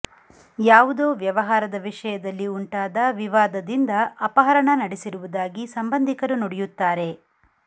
ಯಾವುದೋ ವ್ಯವಹಾರದ ವಿಷಯದಲ್ಲಿ ಉಂಟಾದ ವಿವಾದದಿಂದ ಅಪಹರಣ ನಡೆಸಿರುವುದಾಗಿ ಸಂಬಂಧಿಕರು ನುಡಿಯುತ್ತಾರೆ